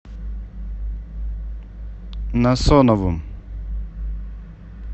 насоновым